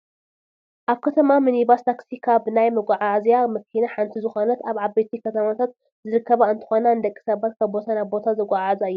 ናይ ከተማ ሚኒባስ ታክሲ ካብ ናይ መጓዓዓዝያ መኪና ሓንቲ ዝኮነት ኣብ ዓበይቲ ከተማታት ዝርከባ እንትኮና ንደቂ ሰባት ካብ ቦታ ናብ ቦታ ዘጓዓዕዛ እየን።